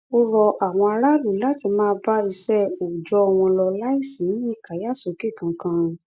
ó rọ àwọn aráàlú láti máa bá iṣẹ òòjọ wọn lọ láì sí ìkàyàsókè kankan